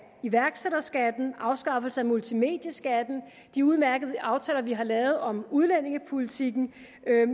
iværksætterskatten afskaffelse af multimedieskatten de udmærkede aftaler vi har lavet om udlændingepolitikken